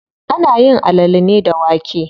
Ana yin alale ne da wake.